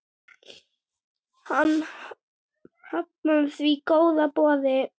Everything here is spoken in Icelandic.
Hann hafnaði því góða boði.